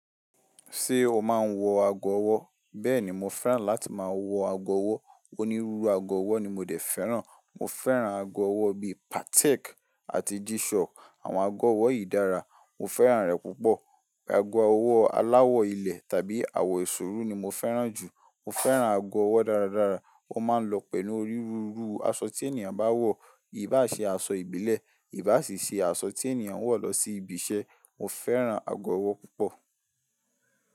Ṣé o máa ń wọ ago ọwọ́? Bẹ́ẹ̀ni, mo fẹ́ràn láti máa wọ ago ọwọ́. Onírúurú ago ọwọ́ ni mo dé fẹ́ràn. Mo fẹ́ràn ago ọwọ́ bí i Patek àti G-Shock. Àwọn ago ọwọ́ yìí dára, mo fẹ́ràn rẹ̀ púpọ̀. Ago ọwọ́ aláwọ̀ ilẹ̀ tàbí àwọ̀ eṣuru ni mo fẹ́ràn jù. Mo fẹ́ràn ago ọwọ́ dáradára. Ó máa ń lọ pẹ̀lú onírúurú aṣọ tí ènìyàn bá wọ̀. Í bá ṣe aṣọ ìbílẹ̀, ì bá sì ṣe aṣọ tí ènìyàn ń wọ̀ lọ sí ibi iṣẹ́. Mo fẹ́ràn ago ọwọ́ púpọ̀.